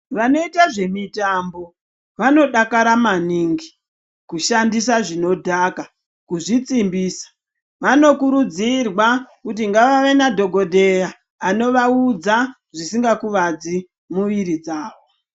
Vanoita zvemitambo vanodakara maningi kushandisa zvinodhaka kuzvisimbisa. Vanokurudzirwa kuti ngavave nadhokodheya anovaudza zvisikakuvadzi mumiri dzavo.